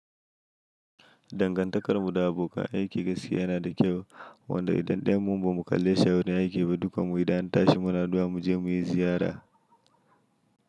Dangantakar mu da abokan aiki gaskiya yana da kyau, wanda idan ɗayan mu ba mu kalle shi a wurin aiki ba, dukan mu idan an shi muna addu'a mu je muyi ziyara.